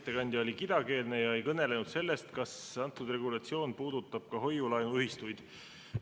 Ettekandja oli kidakeelne ja ei kõnelenud sellest, kas see regulatsioon puudutab ka hoiu-laenuühistuid.